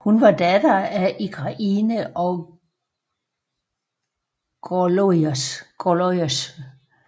Hun var datter af Igraine og Gorlois